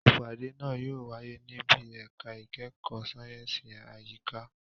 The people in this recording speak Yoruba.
Ìpàdé náà yóò wáyé níbi ẹ̀ka ìkẹ́kọ̀ọ́ sáyẹ̀nsì àyíká.